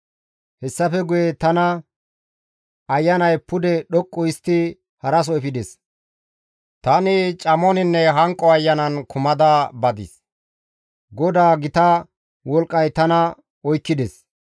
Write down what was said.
Hessafe guye tana Ayanay pude dhoqqu histti haraso efides; tani camoninne hanqo ayanan kumada badis; GODAA gita wolqqay tana oykkides.